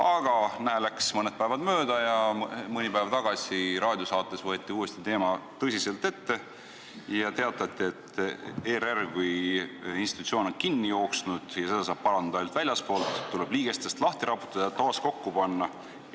Aga näe, läksid mõned päevad mööda, ja mõni päev tagasi ühes raadiosaates võeti uuesti teema tõsiselt ette ja teatati, et ERR kui institutsioon on kinni jooksnud ja seda saab parandada ainult väljastpoolt, ta tuleb liigestest lahti raputada ja taas kokku panna.